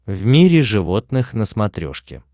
в мире животных на смотрешке